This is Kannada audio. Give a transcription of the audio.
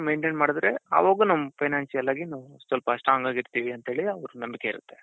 maintain ಮಾಡುದ್ರೆ ಅವಾಗೂ ನಮ್ financial ಆಗಿ ನಾವು ಸ್ವಲ್ಪ strong ಆಗಿರ್ತೀವಿ ಅಂತ ಹೇಳಿ ಅವರಿಗೆ ನಂಬಿಕೆ ಇರುತ್ತೆ.